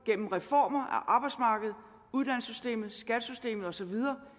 gennem reformer af arbejdsmarkedet uddannelsessystemet skattesystemet og så videre